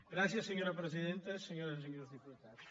gràcies senyora presidenta senyores i senyors diputats